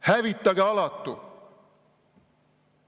Hävitage alatu!